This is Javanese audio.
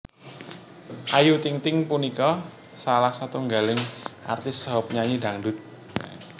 Ayu Ting Ting punika salah setunggaling artis saha penyanyi dhangdhut